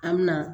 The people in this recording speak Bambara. An mi na